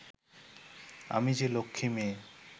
আমি যে লক্ষ্মী মেয়ে